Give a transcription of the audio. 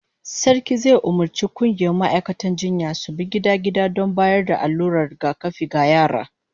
Sarki zai umurci kungiyar ma'aikatan jinyan su bi gida-gida don bayar da allurar rigakafi ga yara